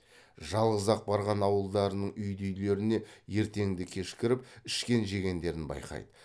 жалғыз ақ барған ауылдарының үйді үйлеріне ертеңді кеш кіріп ішкен жегендерін байқайды